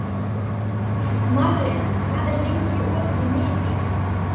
Marlena, hvað er lengi opið í Miðeind?